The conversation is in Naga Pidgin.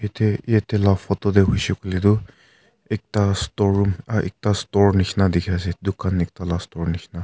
ete yate laa photo te hoishe koile toh ekta storeroom ah ekta store nishe na dikhi ase dukan ekta la store nishena.